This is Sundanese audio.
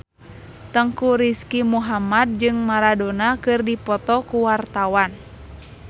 Teuku Rizky Muhammad jeung Maradona keur dipoto ku wartawan